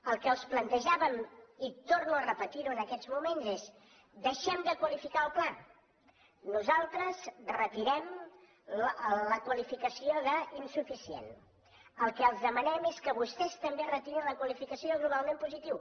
el que els plantejàvem i torno a repetirho en aquests moments és deixem de qualificar el pla nosaltres retirem la qualificació d’ insuficient el que els demanem és que vostès també retirin la qualificació de globalment positiu